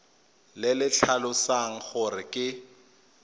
le le tlhalosang gore ke